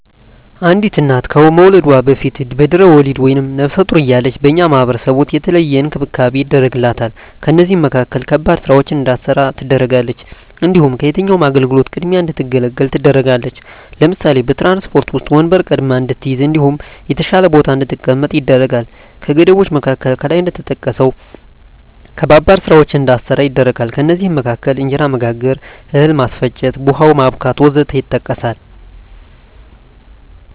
አንዲት እና ከመዉለዷ በፊት(በድሕረ ወሊድ)ወይም ነብሰ ጡር እያለች በእኛ ማህበረሰብ ዉስጥ የተለየ እንክብካቤ ይደረግላታል ከእነዚህም መካከል ከባድ ስራወችን እንዳትሰራ ትደረጋለች። እንዲሁም ከየትኛዉም አገልግሎት ቅድሚያ እንድትገለገል ትደረጋለች ለምሳሌ፦ በትራንስፖርት ዉስጥ ወንበር ቀድማ እንድትይዝ እንዲሁም የተሻለ ቦታ ላይ እንድትቀመጥ ይደረጋል። ከገደቦች መካከል ከላይ እንደተጠቀሰዉ ከባባድ ስራወችን እንዳትሰራ ይደረጋል ከእነዚህም መካከል እንጀራ መጋገር፣ እህል ማስፈጨት፣ ቡሆ ማቡካት ወዘተ ይጠቀሳል